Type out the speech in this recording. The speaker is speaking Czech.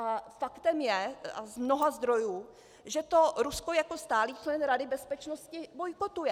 A faktem je - a z mnoha zdrojů, že to Rusko jako stálý člen Rady bezpečnosti bojkotuje.